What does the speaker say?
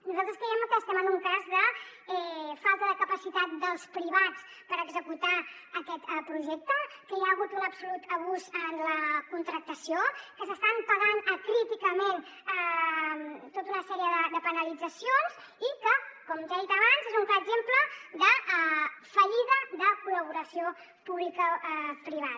nosaltres creiem que estem en un cas de falta de capacitat dels privats per executar aquest projecte que hi ha hagut un absolut abús en la contractació que s’estan pagant acríticament tota una sèrie de penalitzacions i que com ja he dit abans és un clar exemple de fallida de col·laboració publicoprivada